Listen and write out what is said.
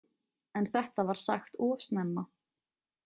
En þetta var sagt of snemma.